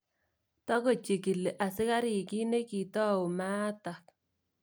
Tagochikili asikarik kiit nekitou maatak.